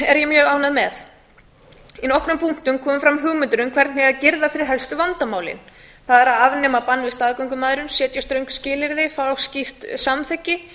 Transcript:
er ég mjög ánægð með í nokkrum punktum komu fram hugmyndir um hvernig girða eigi fyrir helstu vandamálin það er að afnema bann við staðgöngumæðrun setja þröng skilyrði fá skýrt samþykki